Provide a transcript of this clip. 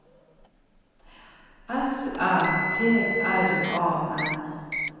S Æ T R A N